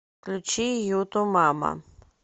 включи юту мама